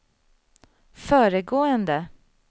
föregående